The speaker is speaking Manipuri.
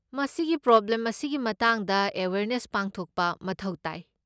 ꯃꯁꯤꯒꯤ ꯄ꯭ꯔꯣꯕ꯭ꯂꯦꯝ ꯑꯁꯤꯒꯤ ꯃꯇꯥꯡꯗ ꯑꯦꯋꯦꯌꯔꯅꯦꯁ ꯄꯥꯡꯊꯣꯛꯄ ꯃꯊꯧ ꯇꯥꯏ꯫